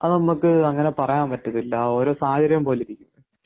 അത് നമുക്ക് അങ്ങനെ പറയാൻ പറ്റത്തില്ല ഓരോ സാഹചര്യം പോലെ ഇരിക്കും.